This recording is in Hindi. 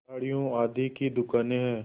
साड़ियों आदि की दुकानें हैं